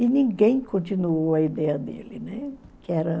E ninguém continuou a ideia dele, né, que era...